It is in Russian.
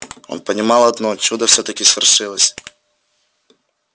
он понимал одно чудо всё-таки свершилось